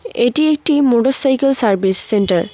এটি একটি motorcycle service centre.